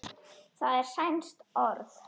það er sænskt orð